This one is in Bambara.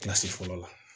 Kilasi fɔlɔ la